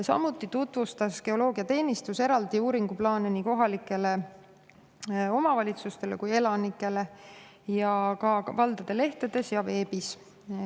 Samuti tutvustas geoloogiateenistus uuringuplaane eraldi nii kohalikele omavalitsustele kui ka elanikele valdade lehtedes ja veebis.